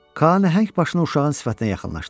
Ka nəhəng başını uşağın sifətinə yaxınlaşdırdı.